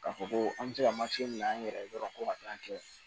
K'a fɔ ko an bɛ se ka bila an yɛrɛ ye dɔrɔn ka taa kɛ